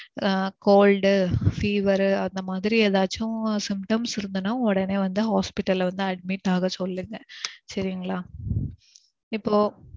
ஆஹ் cold, fever அந்த மாதிரி ஏதாச்சும் symptoms இருந்ததுனா உடனே வந்து hospital ல வந்து admit ஆக சொல்லுங்க சரிங்களா. இப்போ